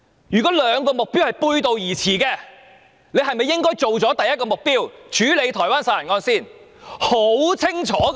如果兩個目標背道而馳，政府應否先處理第一個目標，亦即解決台灣殺人案呢？